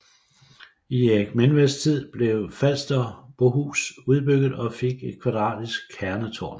I Erik Menveds tid blev Falsterbohus udbygget og fik et kvadratisk kernetårn